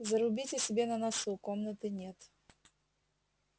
зарубите себе на носу комнаты нет